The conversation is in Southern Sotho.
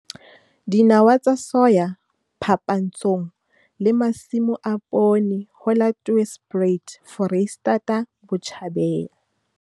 Photo 3. Dinawa tsa soya phapantshong le masimo a poone ho la Tweespruit Foreisetata Botjhabela.